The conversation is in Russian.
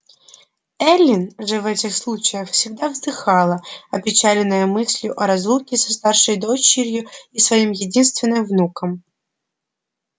эллин же в этих случаях всегда вздыхала опечаленная мыслью о разлуке со старшей дочерью и своим единственным внуком